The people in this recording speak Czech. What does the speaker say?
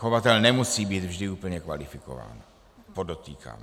Chovatel nemusí být vždy úplně kvalifikován, podotýkám.